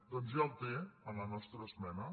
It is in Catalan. doncs ja el té en la nostra esmena